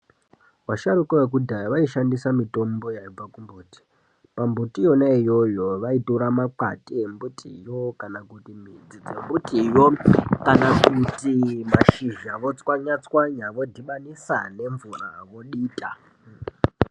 Vasharuka vekudhaya vaishandisa mitombo yaibva kumbuti. Pambuti yona iyoyo vaitora makwati embitiyo kana kuti midzi yembitiyo, kana kuti mashizha, votswanya-tswanya, vodhibanisa nemvura, vodita